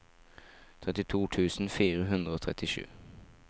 trettito tusen fire hundre og trettisju